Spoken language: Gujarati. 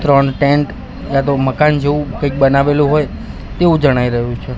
ત્રણ ટેન્ટ યાતો મકાન જેવું કંઈક બનાવેલું હોય તેવું જણાઈ રહ્યું છે.